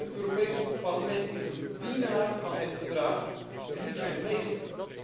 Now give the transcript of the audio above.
Het Europees Parlement is een dienaar van het Verdrag en niet zijn meester.